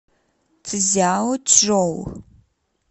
цзяочжоу